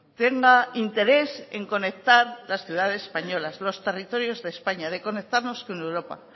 tenga interés en conectar las ciudades españolas los territorios de españa de conectarnos con europa